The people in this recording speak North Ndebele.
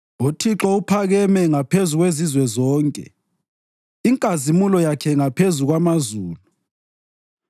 UThixo uphakeme ngaphezu kwezizwe zonke, inkazimulo yakhe ngaphezulu kwamazulu.